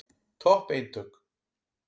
Topp eintök.